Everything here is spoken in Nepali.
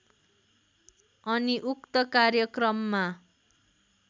अनि उक्त कार्यक्रममा